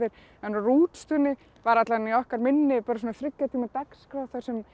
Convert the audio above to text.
en á Rútstúni var alla vega í okkar minni svona þriggja tíma dagskrá þar sem